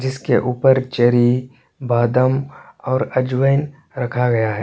जिसके ऊपर चेरी बादाम और अंजवाइन रखा गया है।